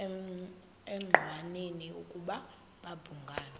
engqanweni ukuba babhungani